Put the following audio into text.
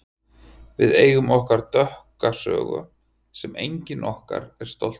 Við eigum okkar dökka sögu sem enginn okkar er stoltur af.